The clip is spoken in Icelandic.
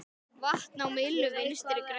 Vatn á myllu Vinstri grænna?